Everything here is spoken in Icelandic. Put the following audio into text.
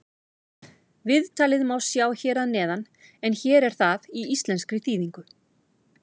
Viðtalið má sjá hér að neðan en hér er það í íslenskri þýðingu.